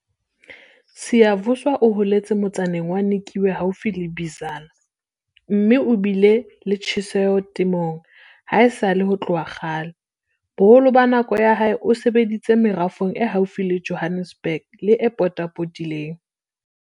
Siyavuya o holetse motsaneng wa Nikwe haufi le Bizana, mme o bile le tjheseho temong haesale ho tloha kgale. Boholo ba nako ya hae o sebeditse merafong e haufi le Johannesburg le e e potapotileng.